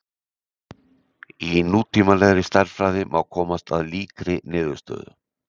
Í nútímalegri stærðfræði má komast að líkri niðurstöðu.